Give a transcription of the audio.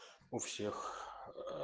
у всех